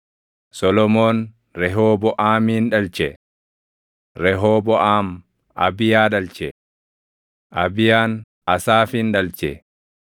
Solomoon Rehooboʼaamin dhalche; Rehooboʼaam Abiyaa dhalche; Abiyaan Asaafin dhalche;